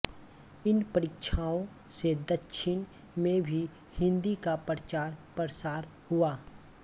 इन परीक्षाओं से दक्षिण में भी हिन्दी का प्रचार प्रसार हुआ